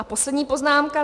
A poslední poznámka.